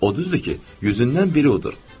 O düzdür ki, yüzdən biri odur.